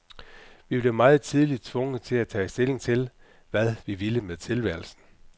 Vi blev meget tidligt tvunget til at tage stilling til, hvad vi ville med tilværelsen.